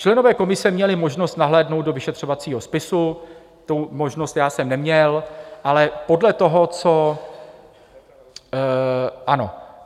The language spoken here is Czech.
Členové komise měli možnost nahlédnout do vyšetřovacího spisu, tu možnost já jsem neměl, ale podle toho, co...